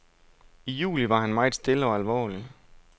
I juli var han meget stille og alvorlig.